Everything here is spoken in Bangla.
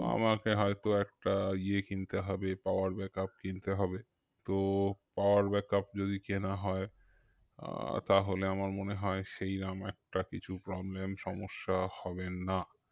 আমাকে হয়তো একটা ইয়ে কিনতে হবে power backup কিনতে হবে তো power backup যদি কেনা হয় আহ তাহলে আমার মনে হয় সেইরম একটা কিছু problem সমস্যা হবে না